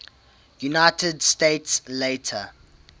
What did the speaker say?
united states later